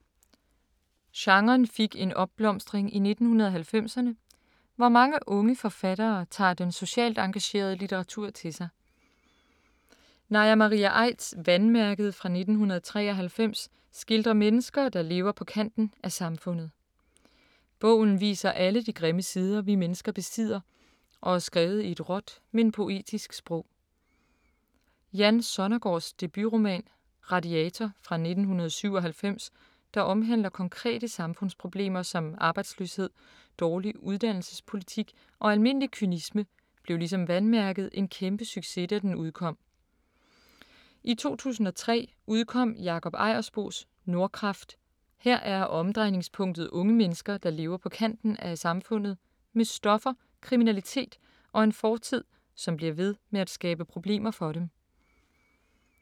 Genren fik en opblomstring i 1990’erne, hvor mange unge forfattere tager den socialt engagerede litteratur til sig. Naja Maria Aidts Vandmærket fra 1993 skildrer mennesker, der lever på kanten af samfundet. Bogen viser alle de grimme sider vi mennesker besidder og er skrevet i et råt, men poetisk sprog. Jan Sonnergaards debutroman Radiator fra 1997, der omhandler konkrete samfundsproblemer som arbejdsløshed, dårlig uddannelsespolitik og almindelig kynisme, blev ligesom Vandmærket en kæmpe succes, da den udkom. I 2003 udkom Jakob Ejersbos Nordkraft, her er omdrejningspunktet unge mennesker, der lever på kanten af samfundet, med stoffer, kriminalitet og en fortid, som bliver ved med at skabe problemer for dem.